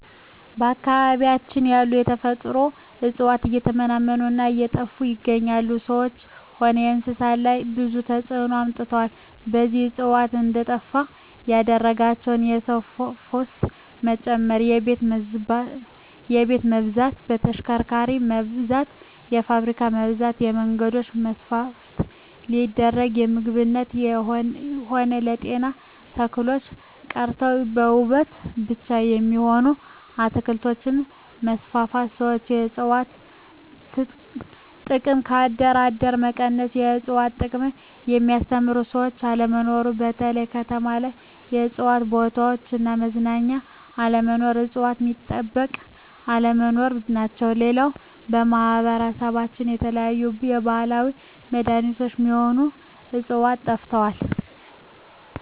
በአካባቢያችን ያሉ የተፈጥሮ እጽዋት እየተመናመኑ እና እየጠፋ ይገኛሉ በሰዎች ሆነ በእንስሳት ላይ ብዙ ተጽዕኖ አምጥተዋል እነዚህ እጽዋት እንዴጠፋ ያደረጋቸው የሰው ፋሰት መጨመር የቤት መብዛት የተሽከርካሪ መብዛት የፋብሪካ መብዛት የመንገዶች መስፍን ሲደረግ ለምግብነት ሆነ ለጤና ተክሎች ቀርተው ለዉበት ብቻ የሚሆኑ አትክልቶች መስፋፋት ሠዎች የእጽዋት ጥቅም ከአደር አደር መቀነስ የእጽዋት ጥቅምን የሚያስተምሩ ሰዎች አለመኖር በተለይ ከተማ ላይ የእጽዋት ቦታዎች እና መዝናኛ አለመኖር እጽዋት ሚጠበቅ አለመኖር ናቸው ሌላው በማህበረሰባችን የተለያዩ የባህላዊ መዳኔቾች ሚሆኑ ህጽዋቾች ጠፍተዋል